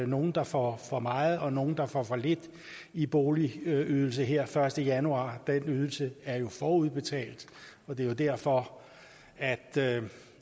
nogle der får for meget og nogle der får for lidt i boligydelse her den første januar den ydelse er jo forudbetalt og det er derfor at